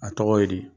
A tɔgɔ ye di